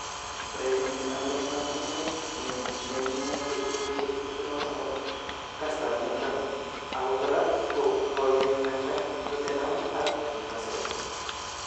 Urerrnindet noto ab kwenet nenyit kenyisiek 23, kastab mut raa, ako kora kokenamda Tottenham ak Newcastle.